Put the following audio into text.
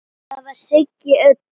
Það var Siggi Öddu.